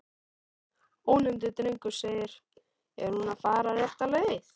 Ónefndur drengur: Er hún að fara rétta leið?